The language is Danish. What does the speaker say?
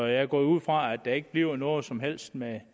jeg går ud fra at der ikke bliver noget som helst med